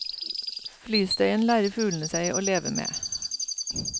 Flystøyen lærer fuglene seg å leve med.